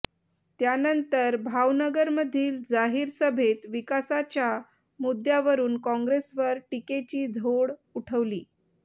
त्यानंतर भावनगरमधील जाहीर सभेत विकासाच्या मुद्द्यावरून कॉंग्रेसवर टीकेची झोड उठवली